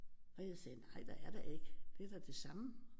Og jeg sagde nej der er da ikke det er da det samme